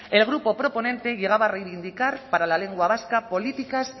el grupo proponente llegaba a reivindicar para la lengua vasca políticas